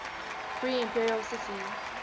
free imperial city